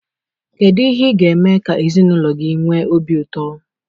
Kedu ihe ị ga-eme ka ezinụlọ gị nwee obi ụtọ?